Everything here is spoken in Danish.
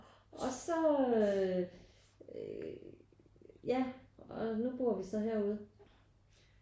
Og så ja og nu bor vi så herude